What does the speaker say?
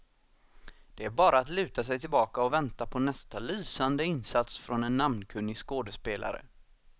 Det är bara att luta sig tillbaka och vänta på nästa lysande insats från en namnkunnig skådespelare.